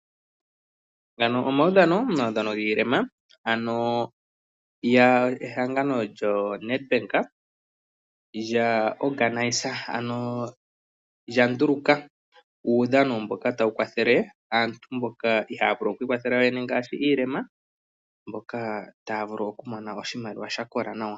Omaudhano gaa mboka ye na uulema, ano ehangano lyoNedbank olya unganeke uudhano mboka tawu kwathele mboka ihaya vulu oku ikwathela yoyene ngaashi mboka ye na uulema mboka taya vulu okumona oshimaliwa sha kola nawa.